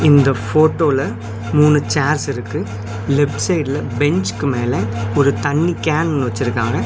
இந்த ஃட்டோல மூணு சேர்ஸ் இருக்கு லெஃப்ட் சைடுல பெஞ்ச்க்கு மேல ஒரு தண்ணி கேன் வச்சருக்காங்க.